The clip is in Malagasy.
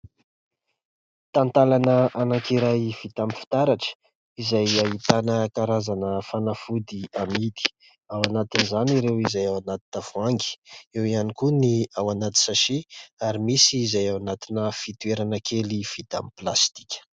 Tantalana anankiray vita amin'ny fitaratra izay ahitana karazana fanafody amidy. Ao anatin'izany ireo izay ao anaty tavoahangy, eo ihany koa ny ao anaty sachet ary misy izay ao anatina fotoerana kely vita amin'ny plastika.